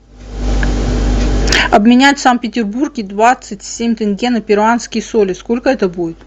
обменять в санкт петербурге двадцать семь тенге на перуанские соли сколько это будет